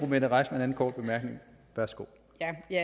mette reissmann anden korte bemærkning værsgo